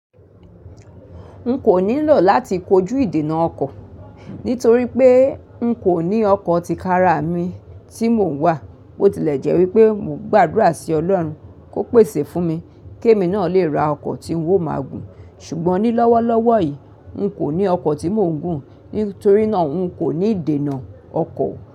N kò nílò láti kojú ìdènà ọkọ̀, nítorí pé n kò ní ọkọ̀ tí kára mi tí mò ń wà. Bó tilẹ̀ jẹ́ wípé mò ń gbàdúrà sí Ọlọ́run kó pèsè fún mi kí èmi náà lè ra ọkọ̀ tí ń ó máa gùn. Ṣùgbọ́n ní lọ́wọ́lọ́wọ́ yìí, n kò ní ọkọ̀ tí mò ń gùn, nítorí náà n kò ní ìdènà ọkọ̀